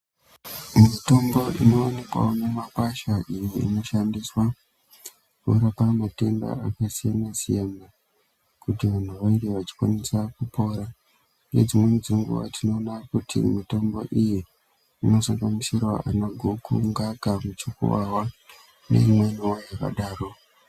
Mitombo ino onekwawo mu makwasha iyo ino shandiswa kurapa matenda aka siyana siyana kuti vantu vange vachi kwanisa kupora nge dzimweni dze nguva tinoona kuti mitombo iyi inozo gumisira ana goko ngaka muchukuwawa ne imweni yakadaro.